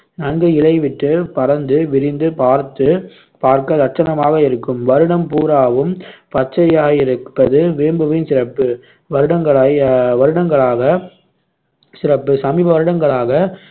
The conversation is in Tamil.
நன்கு இலை விட்டு, பரந்து, விரிந்து பார்த்து பார்க்க லட்சணமாக இருக்கும் வருடம் பூராவும் பச்சையாயிருப்பது வேம்புவின் சிறப்பு வருடங்களாய் அஹ் வருடங்களாக சிறப்பு சமீப வருடங்களாக